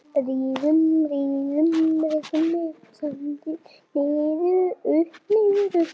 Niður, upp, niður upp.